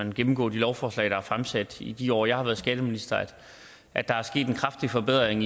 man gennemgår de lovforslag der er fremsat i de år jeg har været skatteminister at der er sket en kraftig forbedring